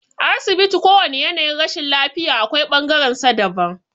A asibiti kowane yanayin rashin lafiya akwai bangaren sa daban